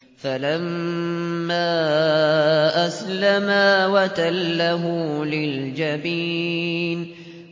فَلَمَّا أَسْلَمَا وَتَلَّهُ لِلْجَبِينِ